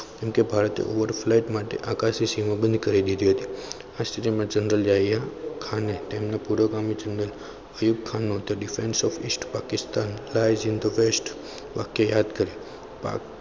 કેમકે ભારતે over flag માટે આકાશી સીમા બંધ કરી દીધી હતી. આ સ્થિતિ માં general આવ્યા ખાને તેમને પુરોગામી જંગલમાં